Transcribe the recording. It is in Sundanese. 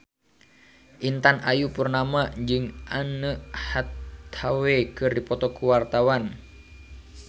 Intan Ayu Purnama jeung Anne Hathaway keur dipoto ku wartawan